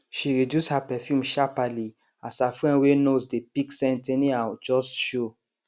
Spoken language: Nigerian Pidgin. she reduce her perfume sharperly as her friend wey nose dey pick scent anyhow just show